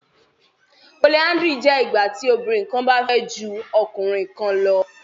Polyandry jẹ ìgbàtí obìnrin kán bá fẹ jù ọkùnrin kán lọ